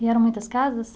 E eram muitas casas?